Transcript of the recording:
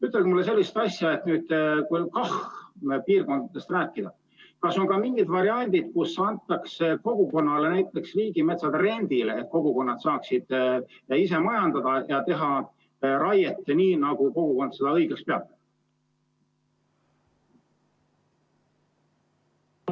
Ütelge mulle sellist asja: kui KAH‑piirkondadest rääkida, siis kas on ka mingid variandid, kus antakse kogukonnale näiteks riigimets rendile, et kogukonnad saaksid ise majandada ja teha raiet nii, nagu kogukond seda õigeks peab?